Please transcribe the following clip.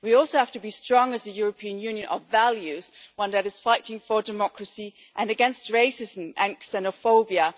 We also have to be strong as a European Union of values which is fighting for democracy and against racism and xenophobia.